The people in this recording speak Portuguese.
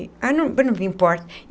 Ah, não não importa.